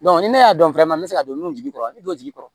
ni ne y'a dɔn fɛn caman bɛ se ka don nun jigi kɔrɔ ni don jigi kɔrɔ